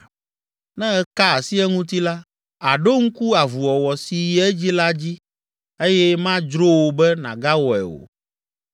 Ne èka asi eŋuti la, àɖo ŋku avuwɔwɔ si yi edzi la dzi eye madzro wò be nàgawɔe o!